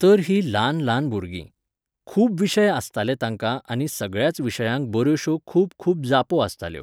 तर हीं ल्हान ल्हान भुरगीं. खूब विशय आसताले तांकां आनी सगळ्याच विशयांक बऱ्योश्यो खूब खूब जापो आसताल्यो.